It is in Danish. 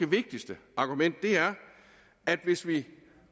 vigtigste argument er at hvis vi